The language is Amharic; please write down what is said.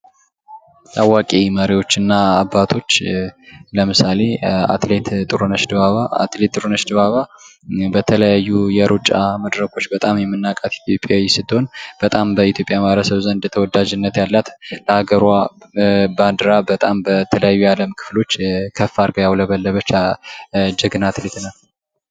ታዋቂ መሪዎች እና አባቶች ለምሳሌ አትሌት ጥሩነሽ ዲባባ አትሌት ጥሩነሽ ዲባባ በተለያዩ የሩጫ መድረኮች በጣም የምናቃት ኢትዮጵያዊ ስትሆን በጣም በኢትዮጵያ ዘንድ የተወዳጅነት ያላት በጣም ለሀገሯ ባንድራ በተለያዩ የዓለም ክፍሎች ከፍ አርጋ ያውለበለበች ጀኛ አትሌት ናት።